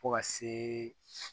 Fo ka se